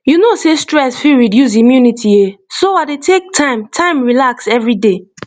you know sey stress fit reduce immunity eh so i dey take time time relax every day